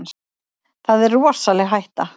Það er rosaleg hætta.